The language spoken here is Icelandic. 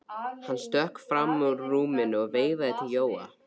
Hann stökk fram úr rúminu og veifaði til Jóa.